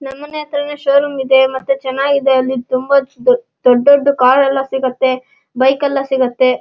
ನಮ್ಮನೆ ಹತ್ರನು showroom ಇದೆ ಮತ್ತೆ ಚೆನ್ನಾಗಿ ಇದೆ ತುಂಬಾ ದೊಡ್ಡ ದೊಡ್ಡ ಕಾರ್ ಎಲ್ಲ ಸಿಗುತ್ತೆ ಬೈಕ್ ಎಲ್ಲ ಸಿಗುತ್ತೆ.